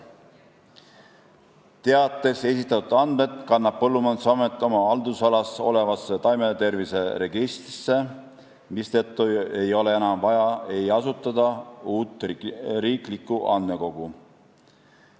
Teates esitatud andmed kannab Põllumajandusamet oma haldusalas olevasse taimetervise registrisse, mistõttu ei ole enam vaja asutada uut riiklikku andmekogu.